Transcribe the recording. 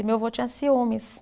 E meu vô tinha ciúmes.